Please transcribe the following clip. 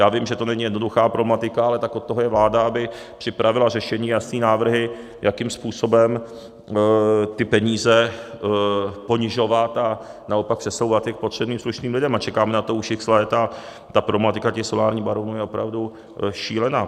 Já vím, že to není jednoduchá problematika, ale tak od toho je vláda, aby připravila řešení, jasné návrhy, jakým způsobem ty peníze ponižovat a naopak přesouvat je k potřebným slušným lidem, a čekáme na to už x let, a ta problematika těch solárních baronů je opravdu šílená.